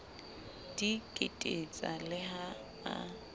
di kititsa le ha a